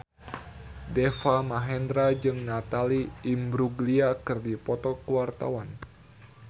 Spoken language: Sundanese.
Deva Mahendra jeung Natalie Imbruglia keur dipoto ku wartawan